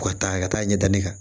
U ka taa ka taa ɲɛ da ne kan